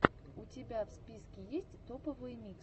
у тебя в списке есть топовые миксы